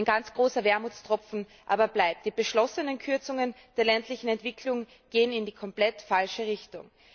Ein ganz großer Wermutstropfen aber bleibt Die beschlossenen Kürzungen der ländlichen Entwicklung gehen in die komplett falsche Richtung.